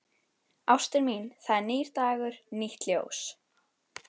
Ástin mín, það er nýr dagur, nýtt ljós.